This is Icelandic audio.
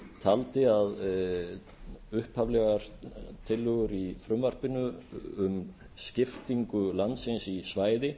taldi að upphaflegar tillögur í frumvarpinu um skiptingu landsins í svæði